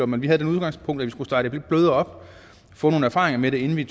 men vi havde det udgangspunkt at vi skulle starte lidt blødere op få nogle erfaringer med det inden vi